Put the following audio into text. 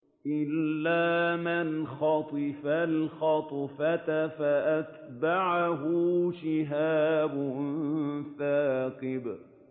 إِلَّا مَنْ خَطِفَ الْخَطْفَةَ فَأَتْبَعَهُ شِهَابٌ ثَاقِبٌ